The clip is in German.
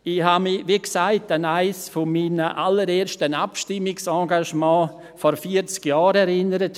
Ich habe mich, wie gesagt, an eines meiner allerersten Abstimmungsengagements vor vierzig Jahren erinnert.